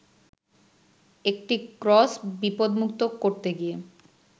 একটি ক্রস বিপদমুক্ত করতে গিয়ে